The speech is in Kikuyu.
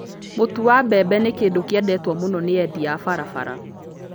Mũtu wa mbembe nĩ kĩndũ kĩendetwo mũno nĩ endia a barabara.